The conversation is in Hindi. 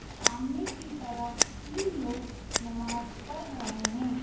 सामने की तरफ तीन लोग नमाज़ पढ़ रहे हैं।